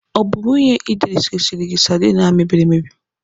Ọ bụ nwunye Idris resiri gị sadin ahụ mebiri emebi?